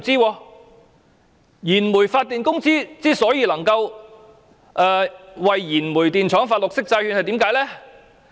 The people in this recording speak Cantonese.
為何燃煤發電公司能夠為燃煤電廠發行綠色債券呢？